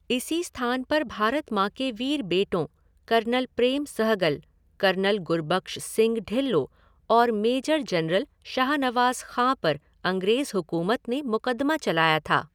इसी स्थान पर भारत माँ के वीर बेटों कर्नल प्रेम सहगल, कर्नल गुरबख्श सिंह ढिल्लो और मेजर जनरल शाहनवाज़ खां पर अंग्रेज हुकूमत ने मुकदमा चलाया था।